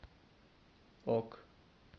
ок